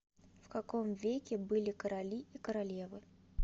в каком веке были короли и королевы